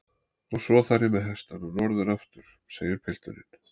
Og svo þarf ég með hestana norður aftur, segir pilturinn.